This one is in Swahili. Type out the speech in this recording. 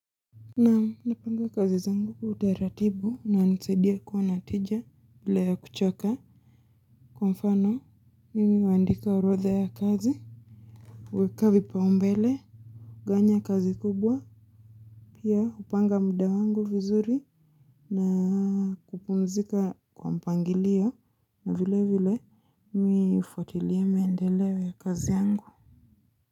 Nam napanga kazi zangu kwa utaratibu inanisaidia kuwa natija bila ya kuchoka kwa mfano mimi huandika orodha ya kazi weka vipa umbele kugawanya kazi kubwa Pia hupanga muda wangu vizuri na kupunzika kwa mpangilio na vile vile mi hufuatilia mendeleo ya kazi yangu.